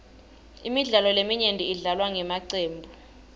imidlalo leminyenti idlalwa ngemacembu